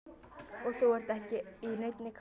Og þú ert ekki í neinni kápu.